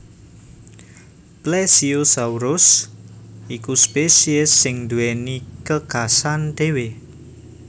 Plesiosaurus iku spesies sing duwéni ke khas an dhewe